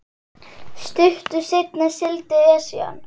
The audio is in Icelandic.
Stuttu seinna sigldi Esjan